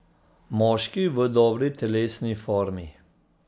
Moški v dobri telesni formi.